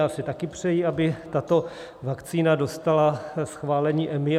Já si taky přeji, aby tato vakcína dostala schválení EMA.